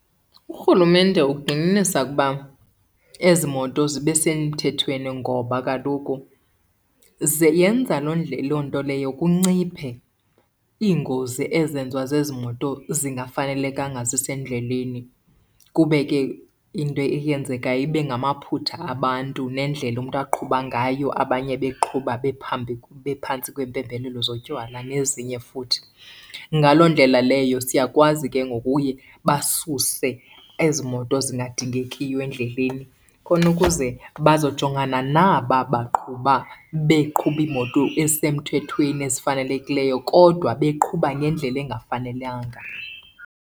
URhulumente ugxininisa ukuba ezi moto zibe semthethweni ngoba kaloku yenza loo nto leyo kunciphe iingozi ezenziwa zezi moto zingafanelekanga zisendleleni. Kube ke into eyenzekayo ibe ngamaphutha abantu nendlela umntu aqhuba ngayo, abanye beqhuba bephantsi kweempembelelo zotywala nezinye futhi. Ngaloo ndlela leyo siyakwazi ke ngoku uye basuse ezi moto zingadingekiyo endleleni khona ukuze bazojongana naba baqhuba beqhuba iimoto ezisemthethweni ezifanelekileyo kodwa beqhuba ngendlela engafanelanga.